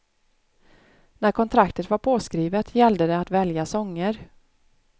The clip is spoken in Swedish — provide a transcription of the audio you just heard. När kontraktet var påskrivet gällde det att välja sånger.